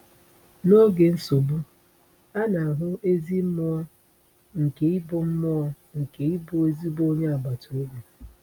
N’oge nsogbu, a na-ahụ ezi mmụọ nke ịbụ mmụọ nke ịbụ ezigbo onye agbata obi.